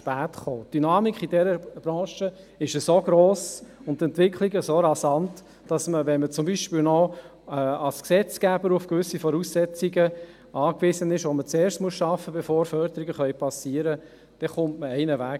» Die Dynamik in dieser Branche ist so hoch und die Entwicklungen derart rasant, dass man ohnehin zu spät kommt, wenn man zum Beispiel als Gesetzgeber auf gewisse Voraussetzungen angewiesen ist, die man zuerst schaffen muss, bevor Förderungen erfolgen können.